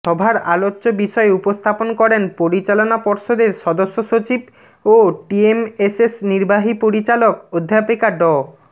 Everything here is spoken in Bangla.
সভার আলোচ্য বিষয় উপস্থাপন করেন পরিচালনা পর্ষদের সদস্যসচিব ও টিএমএসএস নির্বাহী পরিচালক অধ্যাপিকা ড